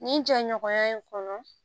Nin jɛɲɔgɔnya in kɔnɔ